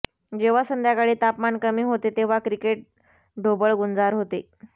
जेव्हा संध्याकाळी तापमान कमी होते तेव्हा क्रिकेट ढोबळ गुंजार होते